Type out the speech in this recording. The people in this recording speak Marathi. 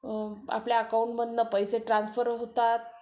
आपल्या अकाउंट मधून पैसे ट्रान्स्फर होतात